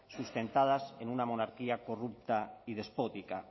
sustentadas en una monarquía corrupta y despótica